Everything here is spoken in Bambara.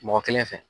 Mɔgɔ kelen fɛ